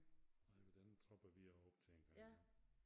Nej men den tropper vi også op til en gang imellem